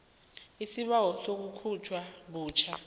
isibawo sokukhutjhwa butjha